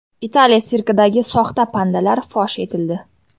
Italiya sirkidagi soxta pandalar fosh etildi.